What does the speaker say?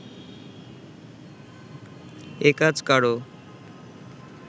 এ কাজ কারও